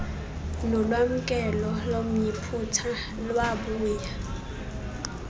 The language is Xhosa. nolwamkelo lomyiputa lwabuya